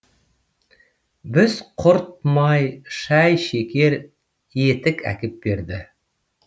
құрт май шай шекер етік әкеп берді